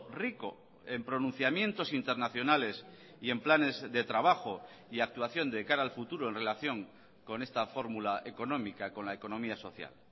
rico en pronunciamientos internacionales y en planes de trabajo y actuación de cara al futuro en relación con esta fórmula económica con la economía social